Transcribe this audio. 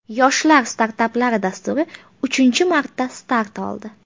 Yoshlar startaplari dasturi uchinchi marta start oldi.